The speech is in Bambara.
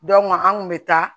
an kun bɛ taa